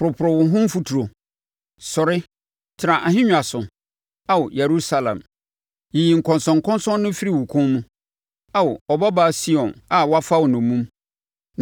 Poroporo wo ho mfuturo. Sɔre, tena ahennwa so, Ao, Yerusalem. Yiyi nkɔnsɔnkɔnsɔn no firi wo kɔn mu, Ao, Ɔbabaa Sion a wɔafa wo nnomum.